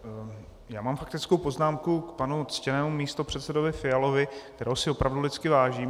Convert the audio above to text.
Já mám faktickou poznámku k panu ctěnému místopředsedovi Fialovi, kterého si opravdu lidsky vážím.